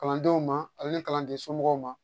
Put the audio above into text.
Kalandenw ma ale ni kalanden somɔgɔw ma